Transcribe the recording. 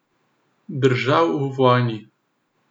Držav v vojni.